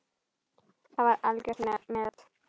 Það var algjört met.